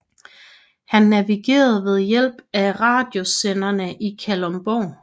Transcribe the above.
Han navigerede ved hjælp af radiosenderne i Kalundborg